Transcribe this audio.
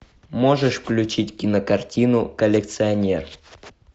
можешь включить кинокартину коллекционер